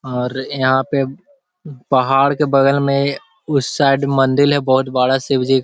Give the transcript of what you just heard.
और यहाँ पे पहाड़ के बगल में उस साइड मंदिल है बहोत बड़ा शिव जी --